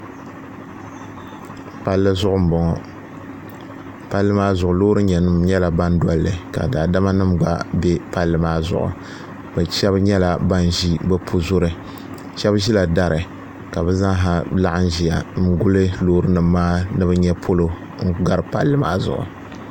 palli zuɣu m-bɔŋɔ palli maa zuɣu loorinima nyɛla ban doli li ka daadama gba be palli maa zuɣu bɛ shɛba nyɛpla ban ʒi bɛ puzuri shɛba ʒila dari ka bɛ zaasa laɣim ʒiya n-guli loorinima maa ni bɛ nyɛ polo n-gari palli maa zuɣu